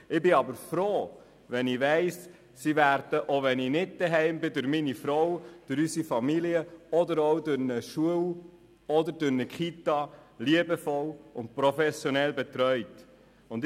Ich bin froh zu wissen, dass sie auch, wenn ich nicht zu Hause bin, von meiner Frau, unserer Familie oder einer Schule oder einer Kita liebevoll und professionell betreut werden.